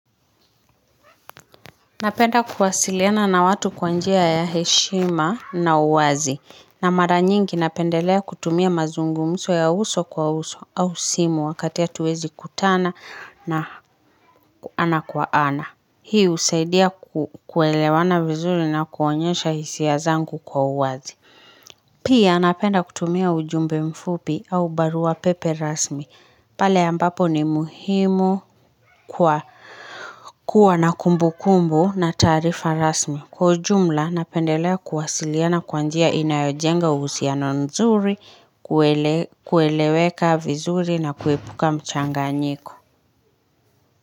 Napenda kuwasiliana na watu kwa njia ya heshima na uwazi. Na mara nyingi napendelea kutumia mazungumuzo ya uso kwa uso au simu wakati y hatuwezi kutana na ana kwa ana. Hii husaidia kuelewana vizuli na kuonyesha hisia zangu kwa uwazi. Pia napenda kutumia ujumbe mfupi au barua pepe rasmi. Pale ambapo ni muhimu kuwa na kumbu kumbu na tarifa rasmi. Kwa ujumla, napendelea kuwasiliana kwa njia inayojenga uhusiano nzuri, kueleweka vizuri na kuepuka mchanga nyiko.